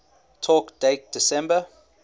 talk date september